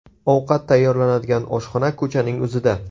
Ovqat tayyorlanadigan oshxona ko‘chaning o‘zida.